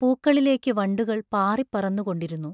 പൂക്കളിലേക്കു വണ്ടുകൾ പാറിപ്പറന്നുകൊണ്ടിരുന്നു.